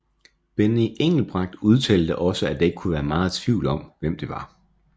Benny Engelbrecht udtalte da også at der ikke kunne være meget tvivl om hvem det var